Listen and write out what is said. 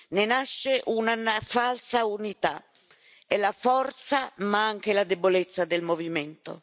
Ne nasce una falsa unità, è la forza ma anche la debolezza del movimento.